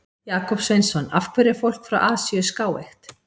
Jakob Sveinsson: Af hverju er fólk frá Asíu skáeygt?